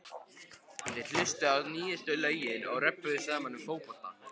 Þeir hlustuðu á nýjustu lögin og röbbuðu saman um fótbolta.